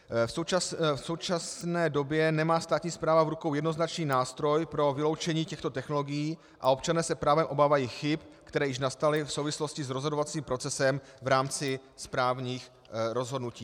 V současné době nemá státní správa v rukou jednoznačný nástroj pro vyloučení těchto technologií a občané s právem obávají chyb, které již nastaly v souvislosti s rozhodovacím procesem v rámci správních rozhodnutí.